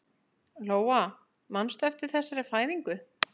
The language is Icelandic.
Lóa: Manstu eftir þessari fæðingu?